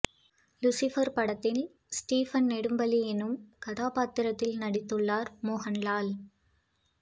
Lucifer படத்தில் Stephen Nedumpally எனும் கதாபாத்திரத்தில் நடித்துள்ளார் மோகன் லால்